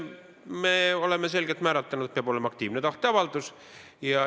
Me oleme selgelt kindlaks määranud, et peab olema aktiivne tahteavaldus.